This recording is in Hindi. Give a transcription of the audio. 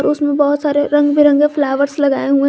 उसमें बहुत सारे रंग बिरंगे फ्लावरस लगाए हुए--